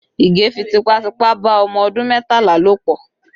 Ige fi tipátipá bá ọmọ ọdún mẹ́tàlá lò pọ